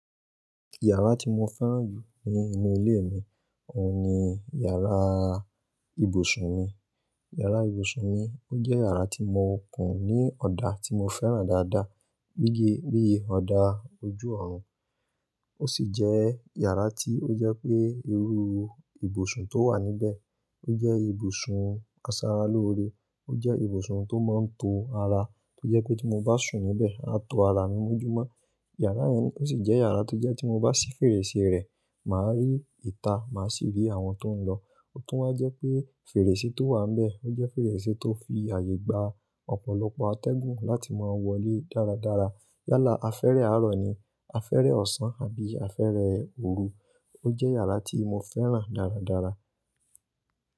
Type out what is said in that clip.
Yàrá tí mo fẹ́ràn jù ní inú ilé mi, òhun ni yàrá ibùsùn mi. Yàrá ibùsùn mi, ó jẹ́ yàrá tí mo kùn ní ọ̀dà tí mo fẹ́ràn dáadáa bí i, bí i ọ̀dà ojú ọ̀run. Ó sì jẹ́ yàrá tí ó jẹ́ pé irú ibùsùn tó wà níbẹ̀ ó jẹ́ ibùsùn káṣe ará lóore. Ó jẹ́ ibùsùn tó máa ń to ara, tó jẹ́ pé tí mo bá sùn níbẹ̀, aá to ara mi mọ́njúmọ́. Yàrá yẹn ó sì jẹ́ yàrá tó jẹ́ tí mo bá sí fèrèsé rẹ̀, màá rí ìta, màá sì rí àwọn tó ń lọ. Ó tún máa ń jẹ́ pé fèrèsé tó wà níbẹ̀ ó jẹ́ fèrèsé tó fi àyè gba ọ̀pọ̀lọpọ̀ atẹ́gùn láti máa wọlé dáradára. Yálà afẹ́rẹ́ àárọ̀ ni, afẹ́rẹ́ ọ̀sán àbí afẹ́rẹ́ òru. Ó jẹ́ yàrá tí mo fẹ́ràn dáradára.